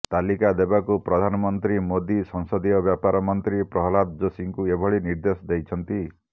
ତାଲିକା ଦେବାକୁ ପ୍ରଧାନମନ୍ତ୍ରୀ ମୋଦି ସଂସଦୀୟ ବ୍ୟାପାର ମନ୍ତ୍ରୀ ପ୍ରହ୍ଲାଦ ଯୋଶୀଙ୍କୁ ଏଭଳି ନିର୍ଦ୍ଦେଶ ଦେଇଛନ୍ତି